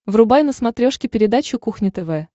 врубай на смотрешке передачу кухня тв